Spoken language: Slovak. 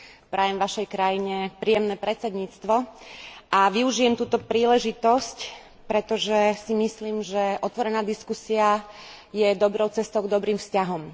Prajem vašej krajine príjemné predsedníctvo a využijem túto príležitosť, pretože si myslím, že otvorená diskusia je dobrou cestou k dobrým vzťahom.